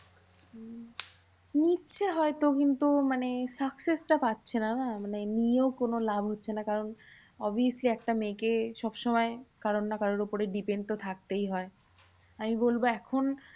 উম নিচ্ছে হয়তো কিন্তু মানে success টা পাচ্ছেনা না। মানে নিয়েও কোনো লাভ হচ্ছে না কারণ obviously একটা মেয়েকে সবসময় কারোর না কারোর উপর depend তো থাকতেই হয়। আমি বলবো এখন